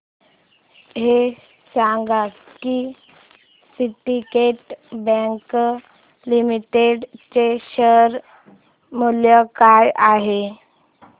हे सांगा की सिंडीकेट बँक लिमिटेड चे शेअर मूल्य काय आहे